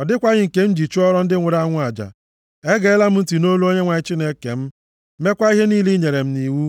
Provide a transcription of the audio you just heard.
ọ dịkwaghị nke m ji chụọrọ ndị nwụrụ anwụ aja. Egeela m ntị nʼolu Onyenwe anyị Chineke m, meekwa ihe niile i nyere m nʼiwu.